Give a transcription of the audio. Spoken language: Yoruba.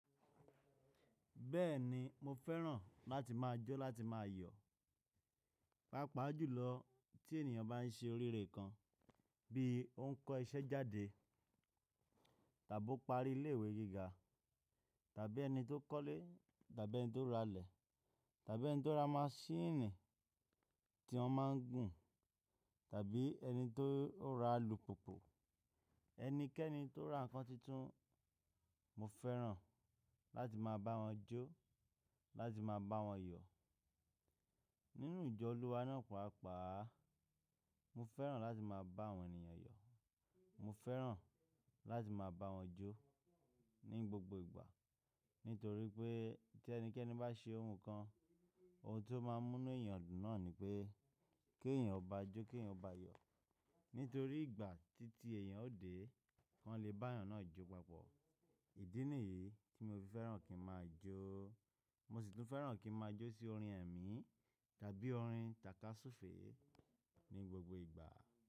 Bẹ́ẹ̀ni, mo fẹ́ràn láti máa jó láti máa yọ̀. Pápà jùlọ tí ènìyàn bá ń ṣe oríire kan, bí ó ń kọ́ iṣẹ́ jáde, tàbí ó ń parí ilé ìwé gíga, tàbí ẹni tó kọ́lé, tàbí ẹni tó ra ilẹ̀, tàbí ẹni tó ra maṣíìnì tí wọ́n máa ń gùn, tàbí ẹni tó ra alùpùpù, ẹnikẹ́ni tó ra nǹkan tuntun, mo fẹ́ràn láti máa bá wọn jó, láti máa bá wọn yọ̀. Nínú ìjọ Olúwa náà pàápàá, mo fẹ́ràn láti máa bá àwọn ènìyàn yọ̀. Mo fẹ́ràn láti máa bá wọn jó ní gbogbo ìgbà. Nítorí pé tí ẹnikẹ́ni bá ṣe ohun kan, ohun tó máa mú ní ìyàn náà ni pé kí èèyàn ó bá a jó, kí èèyàn ó bá a yọ̀. Nítorí ìgbà títí èèyàn ó dé, kàn lè bá èèyàn náà jó papọ̀. Ìdí nìyí tí mo fi fẹ́ràn kí n máa jó. Mo sì tún fẹ́ràn kí n máa jó sí orin ẹ̀mí tàbí orin tàkasúfèé ní gbogbo ìgbà.